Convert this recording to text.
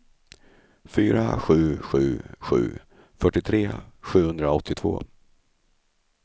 fyra sju sju sju fyrtiotre sjuhundraåttiotvå